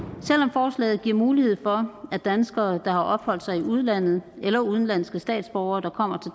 forslaget giver mulighed for at danskere der har opholdt sig i udlandet eller udenlandske statsborgere der kommer